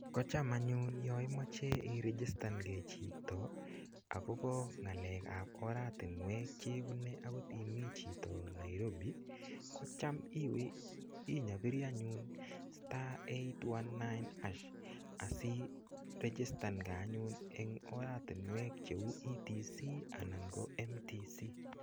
Kocham anyun yo imoche irigistan nge chito agobo ngalekab oratinuek chebune agot imi chito Nairobi. Kocham inyaperi anyun *819# asiregistan nge anyun en oratinwek cheu TTC anan ko MTC.